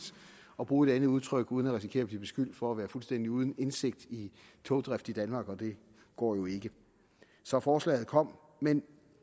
at bruge et andet udtryk uden at risikere at blive beskyldt for at være fuldstændig uden indsigt i togdrift i danmark og det går jo ikke så forslaget kom men